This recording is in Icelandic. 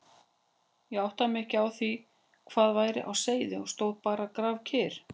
Ég áttaði mig ekki á því hvað væri á seyði og stóð bara grafkyrr.